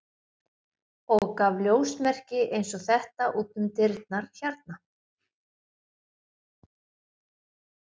og gaf ljósmerki eins og þetta út um dyrnar hérna.